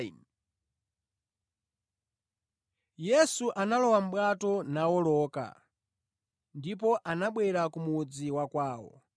Yesu analowa mʼbwato nawoloka, ndipo anabwera ku mudzi wa kwawo.